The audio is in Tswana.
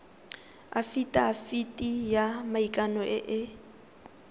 afitafiti ya maikano e e